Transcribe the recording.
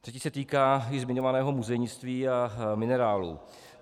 Třetí se týká již zmiňovaného muzejnictví a minerálů.